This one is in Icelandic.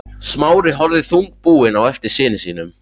Smári horfði þungbúinn á eftir syni sínum.